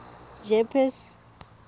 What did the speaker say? jeppes